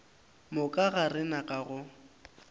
moka ga rena ka go